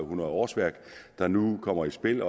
hundrede årsværk der nu kommer i spil